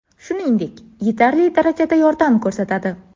Shuningdek, yetarli darajada yordam ko‘rsatadi.